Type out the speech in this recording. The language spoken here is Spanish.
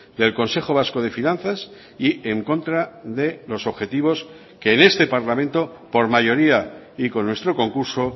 del consejo vasco de finanzas y en contra de los objetivos que en este parlamento por mayoría y con nuestro concurso